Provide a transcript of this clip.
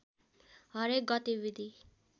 हरेक गतिविधि